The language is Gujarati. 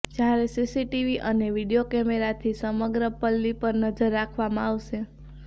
જ્યારે સીસીટીવી અને વિડિયો કેમેરાથી સમગ્ર પલ્લી પર નજર રાખવામાં આવશે